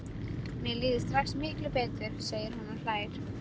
Mér líður strax miklu betur, segir hún og hlær.